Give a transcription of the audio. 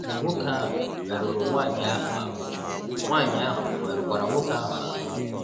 Nwoke ahụ merụrụ nwanyị ahụ ahụ, nwanyị ahụ merụkwara nwoke ahụ ahụ